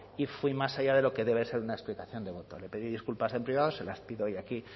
y fui más allá de lo que debe ser una explicación de voto le pedí disculpas en privado se las pido hoy aquí